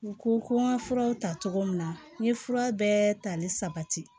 N ko ko n ka furaw ta cogo min na n ye fura bɛɛ tali sabati